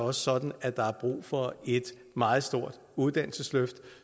er sådan at der er brug for et meget stort uddannelsesløft